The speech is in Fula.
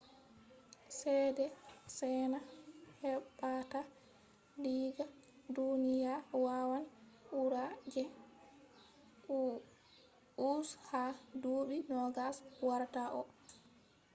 ceede chaina heɓata diga duniya wawan ɓura je us ha duuɓi 20 warata ɗo